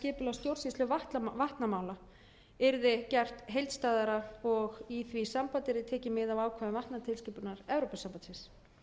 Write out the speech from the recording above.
stjórnsýslu vatnamála yrði gert heildstæðara og í því sambandi yrði tekið mið af ákvæðum vatnatilskipunar evrópusambandsins